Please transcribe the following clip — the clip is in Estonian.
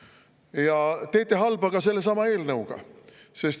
Ja teete halba ka sellesama eelnõuga.